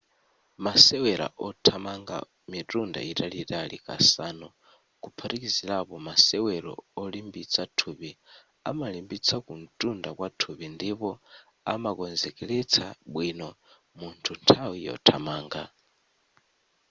masewera othamanga mitunda italiitali kasanu kuphatikizilapo masewero olimbitsa thupi amalimbitsa kuntunda kwathupi ndipo amakonzekeletsa bwino munthu nthawi yothamanga